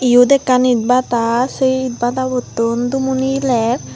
iyot ekkan itbata sei itbatabotun dumo nieler.